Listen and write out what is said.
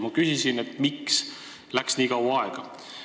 Ma küsisin, miks läks nii kaua aega.